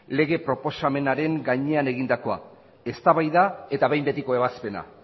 lege proposamenaren gainean egindakoa eztabaida eta behin betiko ebazpena